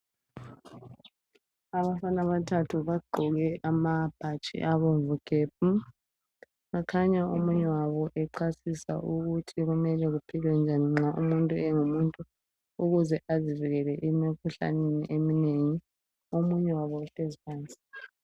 Abafana abathathu bagqoke amabhatshi abomvu gebhu bakhanya omunye wabo echasisa ukuthi kumelwe kuphilwe njani nxa umuntu engumuntu ukuze azivikele emkhuhlaneni eminengi omunye wabo uhlezi phansi.